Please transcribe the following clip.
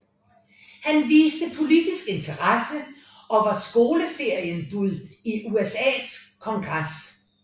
Han viste politisk interesse og var i skoleferien bud i USAs kongres